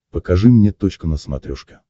покажи мне точка на смотрешке